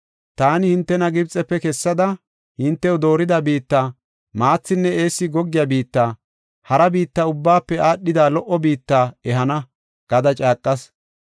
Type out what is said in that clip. Ta hintena Gibxefe kessada, hintew doorida biitta, maathinne eessi goggiya biitta, hara biitta ubbaafe aadhida lo77o biitta ehana’ gada caaqas.